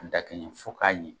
A dakɛɲɛ ye fo k'a ɲɛ.